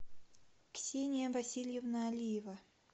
ксения васильевна алиева